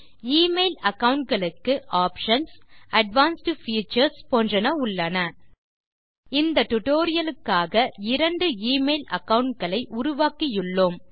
email account களுக்கு options advanced features போன்றன உள்ளன இந்த டியூட்டோரியல் க்காக இரண்டு எமெயில் அகாவுண்ட் களை உருவாக்கியுள்ளோம்